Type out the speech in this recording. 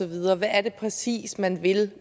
videre hvad er det præcis man vil